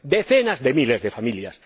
Decenas de miles de familias.